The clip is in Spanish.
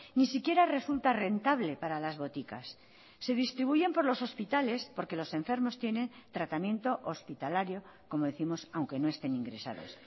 ni siquiera resulta rentable para las boticas se distribuyen por los hospitales porque los enfermos tienen tratamiento hospitalario como décimos aunque no estén ingresados